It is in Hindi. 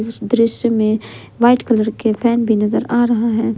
इस दृश्य में वाइट कलर के फैन भी नजर आ रहा है।